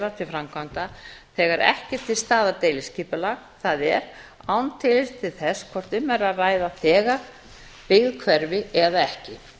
leyfa til framkvæmda þegar ekki er til staðar deiliskipulag það er án tillits til þess hvort um er að ræða þegar byggð hverfi eða ekki